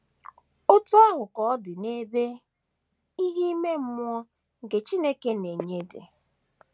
Otú ahụ ka ọ dị n’ebe ìhè ime mmụọ nke Chineke na - enye dị.